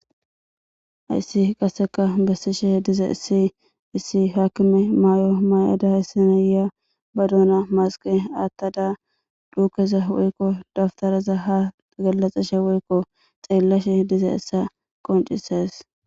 Hayssi qasseka bessishe diza issi issi haakime maayo maay'ada issinaya ba duna masiqe aattada duukeza woykko daftaraza ha galaxeshe woykko xeellashe diza issa qoncisas.